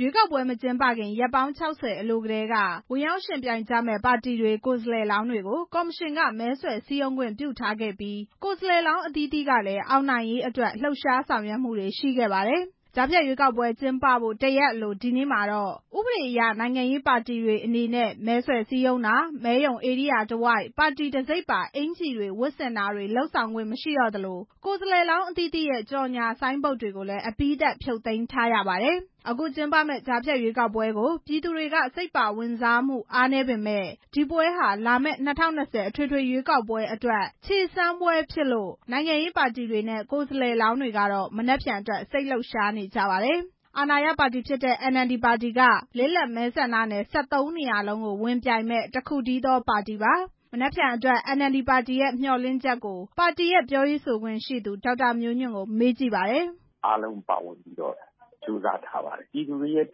ရွေးကောက်ပွဲမကျင်းပခင် ရက်ပေါင်း ၆ဝ အလိုတည်းက ဝင်ရောက်ယှဉ်ပြိုင်ကြမယ့် ပါတီတွေ၊ ကိုယ်စားလှယ်လောင်းတွေကို ကော်မရှင်က မဲဆွယ်ခွင့်ပြုထားခဲ့ပြီး၊ ကိုယ်စားလှယ်လောင်း အသီးသီးကလည်း အောင်နိုင်ရေးအတွက် လှုပ်ရှားဆောင်ရွက်ခဲ့ပါတယ်။ ကြားဖြတ်ရွေးကောက်ပွဲကျင်းပဖို့ တရက်အလို ဒီနေ့မှာတော့ ဥပဒေအရ နိုင်ငံရေးပါတီတွေအနေနဲ့ မဲဆွယ်စည်းရုံးတာ၊ ရွေးကောက်ပွဲဧရိယာတဝိုက် ပါတီအမှတ်တံဆိပ်ပါ အင်္ကျီ ဝတ်ဆင်တာတွေ လုပ်ခွင့်မရှိတော့သလို ကိုယ်စားလှယ်လောင်းအသီးသီးရဲ့ ကြော်ငြာဆိုင်းဘုတ်တွေကိုလည်း အပြီးသတ် ဖြုတ်သိမ်းထားရပါတယ်။ အခုကျင်းပမယ့် ကြားဖြတ်ရွေးကောက်ပွဲကို ပြည်သူတွေက စိတ်ပါဝင်စားမှု အားနည်းပေမယ့် ဒီရွေးကောက်ပွဲဟာ လာမယ့် ၂ဝ၂ဝ အထွေထွေရွေးကောက်ပွဲအတွက် ခြေစမ်းပွဲဖြစ်တဲ့အတွက် နိုင်ငံရေးပါတီတွေနဲ့ ကိုယ်စားလှယ်လောင်းတွေကတော့ မနက်ဖြန်အတွက် စိတ်လှုပ်ရှားနေကြပါတယ်။ အာဏာရပါတီဖြစ်တဲ့ NLD ဟာ လစ်လပ်မဲဆန္ဒနယ် ၁၃ နေရာလုံးကို ဝင်ပြိုင်မယ့် တစ်ခုတည်းသော ပါတီပါ။ မနက်ဖြန်အတွက် NLD ပါတီရဲ့ မျှော်လင့်ချက်ကို ပါတီပြောရေးဆိုခွင့်ရှိသူ ဒေါက်တာမျိုးညွန့်ကို မေးကြည့်ပါတယ်။ “အားလုံးပါဝင်ပြီးတော့ ကြိုးစားထားပါတယ်။ ပြည်သူတွေရဲ့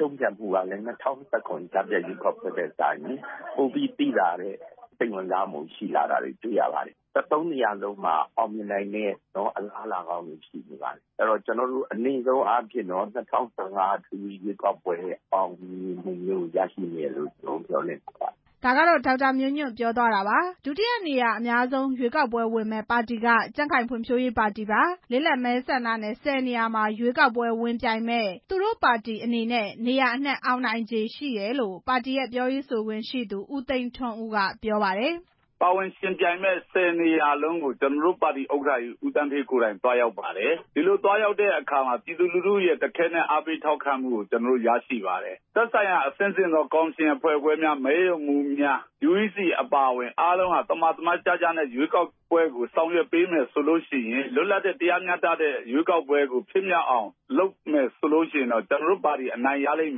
တုန့်ပြန်မှုကလည်း ပြီးခဲ့တဲ့ ၂ဝ၁၇ ကြားဖြတ် ရွေးကောက်ပွဲထက်စာရင် ပိုပြီးတော့ စိတ်ဝင်စားတဲ့ အနေအထားတွေရပါတယ်။ ၁၃ နေရာစလုံးမှာ အောင်မြင်နိုင်မယ့် အလားအလာကောင်းတွေရှိနေပါတယ်။ အနိမ့်ဆုံးအားဖြင့်တော့ ၂ဝ၁၅ အထွေထွေရွေးကောက်ပွဲရဲ့ အောင်မြင်မှုမျိုးကို ရရှိမယ်လို့ မျှော်လင့်ထားပါတယ်။” ဒုတိယနေရာအများဆုံး ရွေးကောက်ပွဲဝင်မယ့်ပါတီကတော့ ကြံ့ခိုင်ဖွံ့ဖြိုးရေးပါတီပါ။ လစ်လပ်မဲဆန္ဒနယ် ၁ဝ နေရာမှာ ရွေးကောက်ပွဲဝင်ပြိုင်မယ့် သူတို့ပါတီအနေနဲ့ နေရာအနှံ့ အောင်နိုင်ခြေရှိတယ်လို့ ပါတီပြောရေးဆိုခွင့်ရှိသူ ဦးသိန်းထွန်းဦးက ပြောပါတယ်။ “သက်ဆိုင်ရာအဆင့်ဆင့်သော ကော်မရှင်အဖွဲ့ခွဲများ၊ မဲရုံမှူးများ UEC အပါအဝင် အားလုံးက သမာသမတ်ကျကျနဲ့ ရွေးကောက်ပွဲကိုဆောင်ရွက်ပေးမယ်ဆိုရင် လွတ်လပ်တရားမျှတတဲ့ ရွေးကောက်ပွဲကို ဖြစ်မြောက်အောင် လုပ်မယ်ဆိုရင် ကျနော်တို့ပါတီအနိုင်ရလိမ့်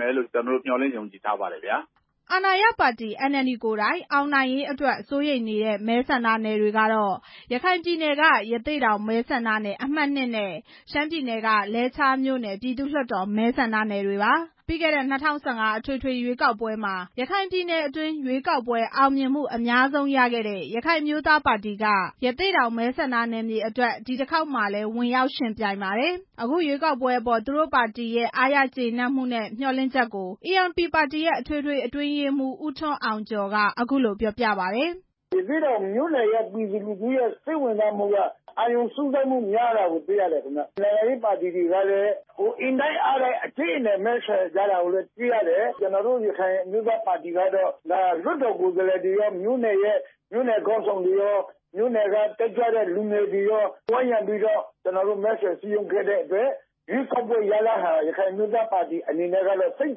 မယ်လို့ မျှော်လင့်ယုံကြည်ထားပါတယ်” အာဏာရပါတီ NLD ကိုယ်တိုင် အောင်နိုင်ရေးအတွက် စိုးရိမ်နေရတဲ့ မဲဆန္ဒနယ်တွေကတော့ ရခိုင်ပြည်နယ်က ရသေ့တောင်မဲဆန္ဒနယ် အမှတ် နဲ့ ရှမ်းပြည်နယ်က လဲချားမြို့နယ် ပြည်သူ့လွှတ်တော်မဲဆန္ဒနယ်ပါ။ ပြီးခဲ့တဲ့ ၂ဝ၁၅ အထွေထွေရွေးကောက်ပွဲမှာ ရခိုင်ပြည်နယ်အတွင်း ရွေးကောက်ပွဲအောင်မြင်မှု အများဆုံးဖြစ်တဲ့ ရခိုင်အမျိုးသားပါတီက ဒီတခေါက်မှာလည်း ရသေ့တောင်မဲဆန္ဒနယ်မှာ ဝင်ရောက်ယှဉ်ပြိုင်ပါတယ်။ အခုရွေးကောက်ပွဲအပေါ် သူတို့ပါတီရဲ့ အားရကျေနပ်မှုနဲ့ မျှော်လင့်ချက်ကို ပါတီရဲ့ အထွေထွေအတွင်းရေးမှူး ဦးထွန်းအောင်ကျော်က အခုလိုပြောပြပါတယ်။ “နိုင်ငံရေးပါတီတွေက အင်တိုက်အားတိုက်မဲဆွယ်စည်းရုံးကြတာတွေ့ရတယ်။ ကျနော်တို့ ရခိုင်အမျိုးသားပါတီ အနေနဲ့ကတော့ လွှတ်တော်ကိုယ်စားလှယ်တွေရော မြို့နယ်ခေါင်းဆောင်တွေကော မြို့နယ်က တက်ကြွတဲ့ လူငယ်တွေကော ဝိုင်းရံပြီး မဲဆွယ်စည်းရုံးခဲ့တဲ့အတွက် ရခိုင်အမျိုးသားပါတီအနေနဲ့ကတော့ စိတ်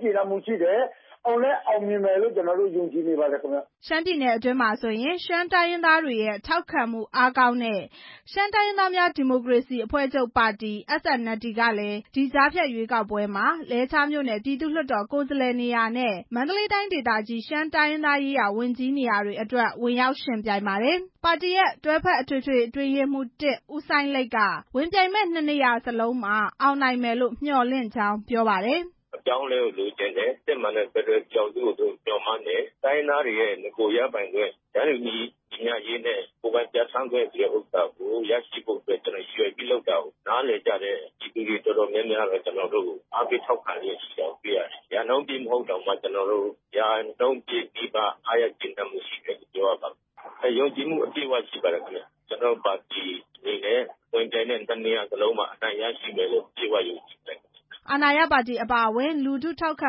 ကျေနပ် မှုရှိတယ်။ အောင်လည်းအောင်မြင်လိမ့်မယ်လို့ ယုံကြည်ပါတယ်” ရှမ်းပြည်နယ်အတွင်း ရှမ်းတိုင်းရင်းသားတွေရဲ့ ထောက်ခံမှုအားကောင်းတဲ့ ရှမ်းတိုင်းရင်းသားများ ဒီမိုကရေစီအဖွဲ့ချုပ် SNLD ပါတီကလည်း ကြားဖြတ်ရွေးကောက်ပွဲမှာ လဲချားမြို့နယ် ပြည်သူ့လွှတ်တော် ကိုယ်စားလှယ်နေရာနဲ့ မန္တလေးတိုင်း ရှမ်းတိုင်းရေးရာဝန်ကြီး နေရာတွေအတွက် ဝင်ရောက်ယှဉ်ပြိုင်ပါတယ်။ ပါတီရဲ့ တွဲဖက်အထွေထွေအတွင်းရေးမှူး ဦးစိုင်းလိတ်က ဝင်ပြိုင်တဲ့၂ နေရာစလုံးမှာ အောင်နိုင်မယ်လို့ မျှော်လင့်ကြောင်း ပြောပါတယ်။ “အပြောင်းအလဲကိုလိုချင်တယ်။ စစ်မှန်တဲ့ ဖက်ဒရယ်ပြည်ထောင်စုကို မျှော်လင့်တယ်။ တိုင်းရင်းသားတွေရဲ့ နဂို ရပိုင်ခွင့် တန်းတူညီမျှရေးနဲ့ ကိုယ်ပိုင်ပြဌာန်းခွင့်ဆိုတာကို ရည်ရွယ်ပြီး လုပ်တဲ့ဟာကို နားလည်ကြတဲ့ ပြည်သူတွေ တော်တော်များများကတော့ ကျနော်တို့ကို အားပေးထောက်ခံတယ်။ ရာနှုန်းပြည့်မဟုတ်တောင် ရာနှုန်းပြည့်နီးပါး အားရကျေနပ်မှုရှိတယ်။ ကျနော်တို့ပါတီအနေနဲ့ ဝင်ပြိုင်တဲ့ ၂ နေရာလုံးမှာ အောင်နိုင်မယ်လို့ ယုံကြည်မှုရှိပါတယ်” အာဏာရပါတီအပါအဝင် လူထုထောက်ခံ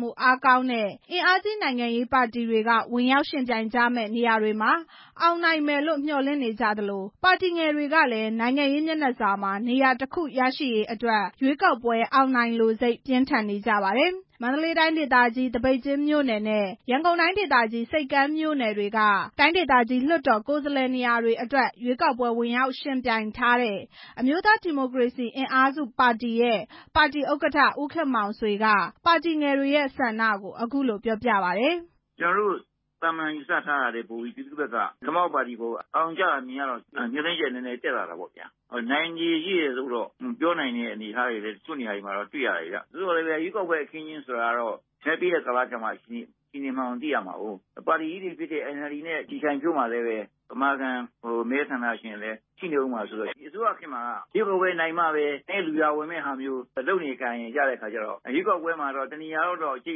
မှုအားကောင်းတဲ့ အင်အားကြီးနိုင်ငံရေးပါတီတွေက ဝင်ရောက်ယှဉ်ပြိုင်မယ့်နေရာတွေမှာ အောင်နိုင်မယ်လို့ မျှော်လင့်နေကြသလို ပါတီငယ်တွေကလည်း နိုင်ငံရေးမျက်နှာစာမှာ နေရာတစ်ခု ရရှိရေးအတွက် ရွေးကောက်ပွဲအောင်နိုင်လိုစိတ် ပြင်းထန်နေကြပါတယ်။ မန္တလေးတိုင်း သပိတ်ကျင်းမြို့နယ်နဲ့ ရန်ကုန်တိုင်း ဆိပ်ကမ်းမြို့နယ်တွေက တိုင်းဒေသကြီး လွှတ်တော်ကိုယ်စားလှယ် နေရာတွေအတွက် ရွေးကောက်ပွဲဝင်ရောက်ယှဉ်ပြိုင်မယ့် အမျိုးသား ဒီမိုကရေစီအင်အားစုပါတီရဲ့ ဥက္ကဋ္ဌဦးခင်မောင်ဆွေက ပါတီငယ်တွေရဲ့ ဆန္ဒကို အခုလို ပြောပြပါတယ်။ “ကျနော်တို့ သာမာန်ယူဆထားတာထက် ပြည်သူဘက်က ခမောက်ပါတီကို အာရုံကျတာ မြင်ရတော့ မျှော်လင့် ချက် နည်းနည်းတက်လာတာပေ့ါဗျာ။ နိုင်ခြေရှိတယ်လို့တော့ ပြောနိုင်တဲ့ အနေအထားတွေ တချို့နေရာ တွေမှာ တွေ့ရတယ်ဗျ။ သို့သော်လည်းပဲ ရွေးကောက်ပွဲအခင်းအကျင်းဆိုတာက မဲပေးတဲ့ အခါကျမှ အခြေအနေကို သိရမှာကိုး။ ဒီအစိုးရခေတ်မှာက ရွေးကောက်ပွဲနိုင်မှပဲ နည်းနည်းလူရာဝင်မယ့် သဘောမျိုးလုပ်နေကိုင် နေကြ တဲ့အခါကျတော့ ရွေးကောက်ပွဲမှာ တနေရာလောက်တော့ ရှိ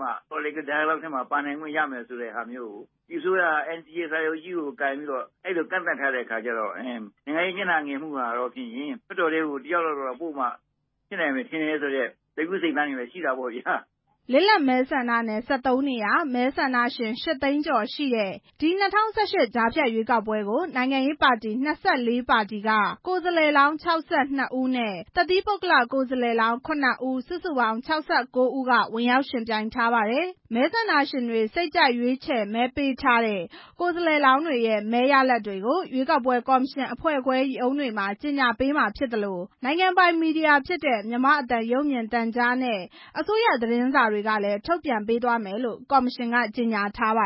မှ ထဲမှာပါနိုင်မယ်ဆိုတာမျိုးကို ဒီအစိုးရက စာချုပ်ကြီးကိုင်ပြီးတော့ အဲ့လိုကန့်သတ်ထားတဲ့အခါကျတော့ နိုင်ငံရေးမျက်နှာငယ်မှုက လွှတ်တော်ထဲကို တစ်ယောက်လောက်တော့ ပိုမှဖြစ်နိုင်မယ်ဆိုတဲ့ စိတ်ကူးစိတ်သန်းကတော့ ရှိတာပေါ့ဗျာ” လစ်လပ်မဲဆန္ဒနယ် ၁၃ နေရာ၊ မဲဆန္ဒရှင် ၈ သိန်းကျော်ရှိတဲ့ ဒီ၂ဝ၁၈ ကြားဖြတ်ရွေးကောက်ပွဲကို နိုင်ငံရေးပါတီ ၂၄ ပါတီက ကိုယ်စားလှယ်လောင်း ၆၂ ဦးနဲ့ တသီးပုဂ္ဂလကိုယ်စားလှယ်လောင်း ၇ ဦး စုစုပေါင်း ၆၉ ဦး ဝင်ရောက်ယှဉ်ပြိုင်ကြမှာပါ။ မဲဆန္ဒရှင်တွေ စိတ်ကြိုက်ရွေးချယ်မဲပေးထားတဲ့ ကိုယ်စားလှယ်လောင်းတွေရဲ့ မဲရလဒ်တွေကို ရွေးကောက်ပွဲ ကော်မရှင်အဖွဲ့ခွဲ ရုံးတွေမှာ ကြေညာပေးမှာဖြစ်သလို နိုင်ငံပိုင်မီဒီယာဖြစ်တဲ့ မြန်မာ့အသံ ရုပ်မြင်သံကြားနဲ့ အစိုးရသတင်းစာတွေကနေလည်း ထုတ်ပြန်ပေးသွားမယ်လို့ ကော်မရှင်က ကြေညာထားပါ